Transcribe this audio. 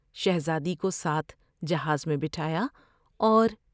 شہزادی کو ساتھ جہاز میں بٹھایا اور